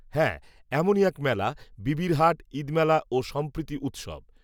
হ্যাঁ, এমনই এক মেলা, বিবির হাট, ঈদ মেলা, ও সম্প্রীতি উত্সব